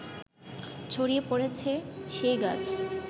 ছড়িয়ে পড়েছে সেই গাছ